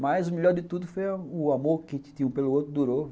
Mas o melhor de tudo foi o amor que tinha um pelo outro durou.